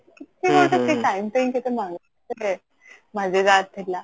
କେତେ କଣ ତ ସେ time ଟା ଟିକେ ଥିଲା